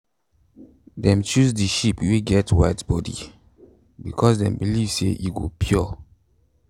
dem choose the sheep wey get white body because them believe say e go pure.